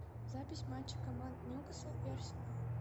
запись матча команд ньюкасл и арсенал